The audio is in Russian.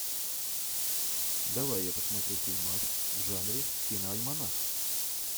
давай я посмотрю фильмас в жанре киноальманах